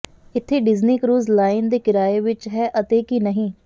ਇੱਥੇ Disney cruise line ਦੇ ਕਿਰਾਏ ਵਿਚ ਹੈ ਅਤੇ ਕੀ ਨਹੀਂ